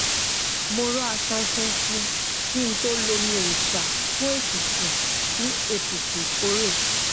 mo ro aṣọ funfun kí n tó lo omi òòsà fún etutu fún etutu ìkórè